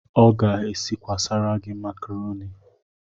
Ọ ga-esikwasara gị makaroni?